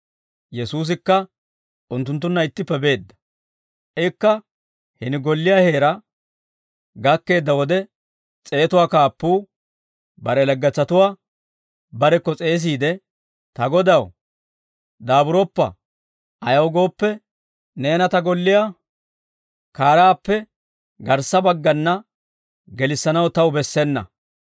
Yesuusikka unttunttunna ittippe beedda. Ikka hini golliyaa heeraa gakkeedda wode s'eetuwaa kaappuu bare laggetsatuwaa barekko s'eesiide, «Ta Godaw, daaburoppa; ayaw gooppe, neena ta golliyaa kaaraappe garssa baggana gelissanaw taw bessena.